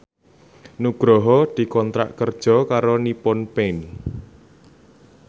Nugroho dikontrak kerja karo Nippon Paint